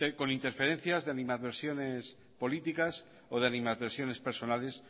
con interferencias de animadversiones políticas o de animadversiones personales